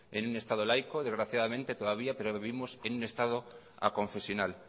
en un estado laico desgraciadamente todavía pero vivimos en un estado aconfesional